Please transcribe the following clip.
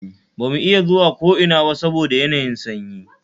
Ba mu iya zuwa ko ina ba saboda yanayin sanyi